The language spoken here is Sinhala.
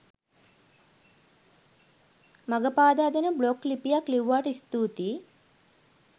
මඟ පාදා දෙන බ්ලොග් ලිපියක් ලිව්වාට ස්තූතියි